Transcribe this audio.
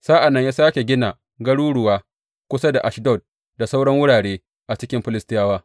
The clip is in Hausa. Sa’an nan ya sāke gina garuruwa kusa da Ashdod da sauran wurare a cikin Filistiyawa.